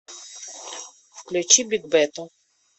включи бигбэту